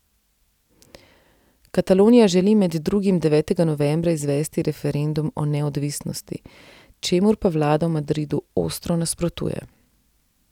Katalonija želi med drugim devetega novembra izvesti referendum o neodvisnosti, čemur pa vlada v Madridu ostro nasprotuje.